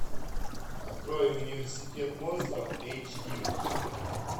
открой университет монстров эйч ди